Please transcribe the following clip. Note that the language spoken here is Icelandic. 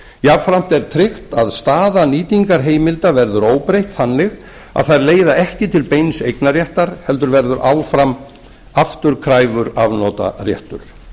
jafnframt er tryggt að staða nýtingarheimilda verður óbreytt þannig að þær leiða ekki til beins eignarréttar heldur verður áfram afturkræfur afnotaréttur